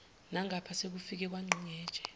nangapha sekufikwe kwangqingetshe